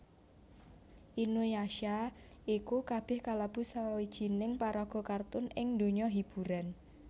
Inuyasha iku kalebu salah sawijining paraga kartun ing donya hiburan